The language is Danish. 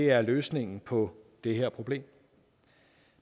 er løsningen på det her problem